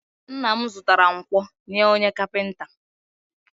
Nna m zụtara nkwọ nye onye kapịnta